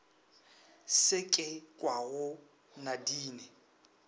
se ke se kwago nadine